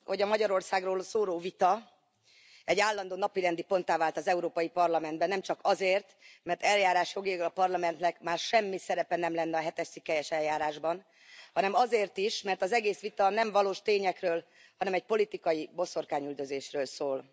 Tisztelt Elnök úr! Őszintén sajnálom, hogy a Magyarországról szóló vita egy állandó napirendi ponttá vált az Európai Parlamentben. Nemcsak azért, mert eljárásjogilag a Parlamentnek már semmi szerepe nem lenne a hetes cikkelyes eljárásban, hanem azért is, mert az egész vita nem valós tényekről, hanem egy politikai boszorkányüldözésről szól.